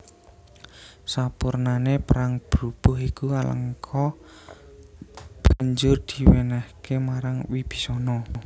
Sapurnané perang brubuh iku Alengka banjur diwènèhké marang Wibisana